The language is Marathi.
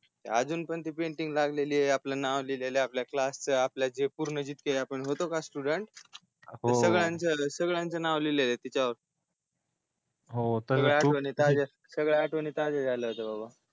अजून पण ते पेंटिंग लावलेल आहे आपल नाव लिहिलेलं आहे आपल्या क्लासस च आपल्या पूर्ण जितके होतो का स्टुडन्ट आपलं सगळ्यांचं सगळ्याचं नाव लिहिलेलं आहे त्याच्यावरती हो सगळ्या आठवणी ताज्या झाल्या होत्या बाबा